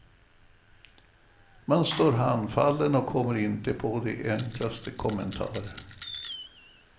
Man står handfallen och kommer inte på de enklaste kommentarer.